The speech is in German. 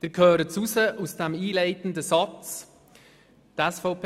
Sie hören es aus diesem einleitenden Satz heraus: